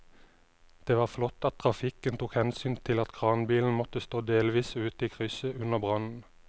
Det var flott at trafikken tok hensyn til at kranbilen måtte stå delvis ute i krysset under brannen.